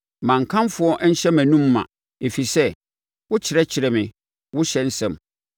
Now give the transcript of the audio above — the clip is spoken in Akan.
Ma nkamfo nhyɛ mʼanom ma; ɛfiri sɛ wokyerɛkyerɛ me wo ɔhyɛ nsɛm.